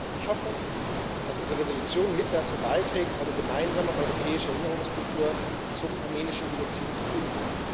Ich hoffe, dass unsere Entschließung mit dazu beiträgt, eine gemeinsame europäische Erinnerungskultur zum armenischen Genozid zu finden.